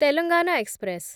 Telangana express